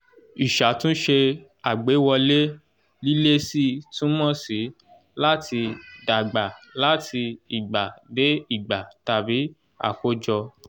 ìṣàtúnṣe àgbéwọlé- lílési túmọ̀ sí "láti dàgbà láti ìgbà dé ìgbà" tàbí "àkọ́jọ"